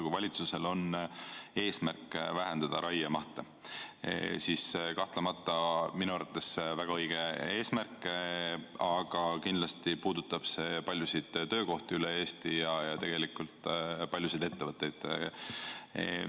Kui valitsusel on eesmärk vähendada raiemahte, siis kahtlemata minu arvates väga õige eesmärk, aga kindlasti puudutab see paljusid ettevõtteid ja töökohti üle Eesti.